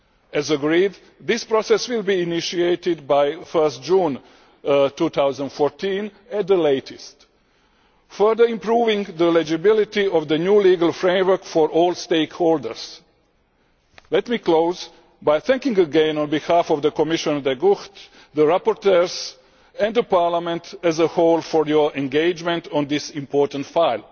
As agreed, this process will be initiated by 1 June 2014 at the latest, further improving the legibility of the new legal framework for all stakeholders. Let me close by thanking again, on behalf of Commissioner De Gucht, the rapporteurs and Parliament as a whole for your engagement on this important file.